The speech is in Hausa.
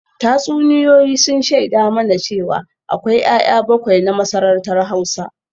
Tatsuniyoyi sun shaida mana cewa akwai ‘ya’ya bakwai na masarautar Hausa